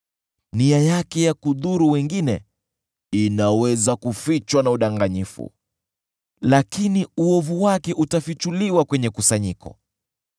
Nia yake ya kudhuru wengine inaweza kufichwa na udanganyifu, lakini uovu wake utafichuliwa kwenye kusanyiko.